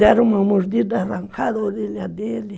Deram uma mordida, arrancaram a orelha dele.